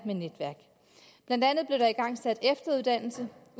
med der igangsat efteruddannelse